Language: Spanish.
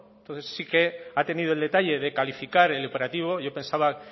entonces sí que ha tenido el detalle de calificar el operativo yo pensaba